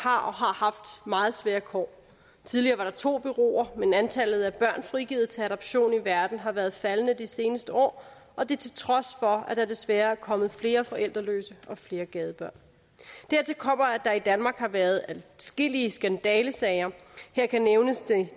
har og har haft meget svære kår tidligere var der to bureauer men antallet af børn frigivet til adoption i verden har været faldende de seneste år og det til trods for at der desværre er kommet flere forældreløse og flere gadebørn dertil kommer at der i danmark har været adskillige skandalesager her kan nævnes